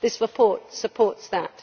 This report supports that.